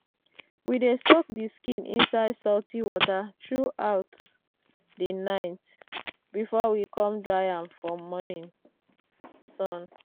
we dey soak the skin inside salty water throughout the night before we come dry am for morning sun.